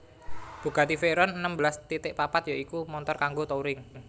Bugatti Veyron enem belas titik papat ya iku montor kanggo touring